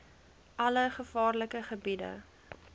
alle gevaarlike gebiede